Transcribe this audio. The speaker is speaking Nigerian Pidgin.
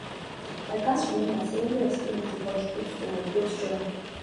i gats remember say every experience dey contribute to my growth journey